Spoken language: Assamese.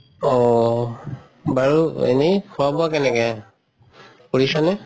অহ বাৰু এনে খুৱা বুৱা কেনেকে? কৰিছা নে?